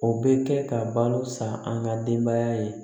O bɛ kɛ ka balo san an ka denbaya ye